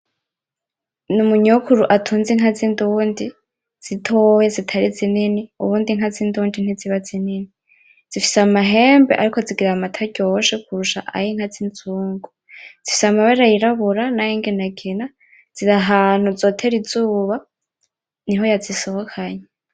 Umunyokuru atunze inka zindundi zitoya, zitari zinini. Ubundi inka zindundi ntiziba zinini. Zifise amahembe ariko zigira amata aryoshe kurusha ayinka zinzungu. Zifise amabara yirabura nay'inginangina. Ziri ahantu zotera izuba, niwe yazisohokanye.